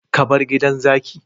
Ka bar gidan zaki